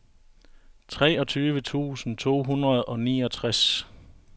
treogtyve tusind to hundrede og niogtres